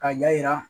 Ka ɲa yira